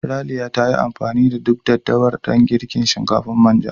Raliya ta yi amfani da duk daddawar dan girka shinkafar manja.